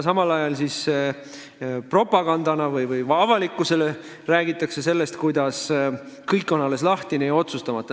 Samal ajal propagandana avalikkusele räägitakse sellest, kuidas kõik on alles lahtine ja otsustamata.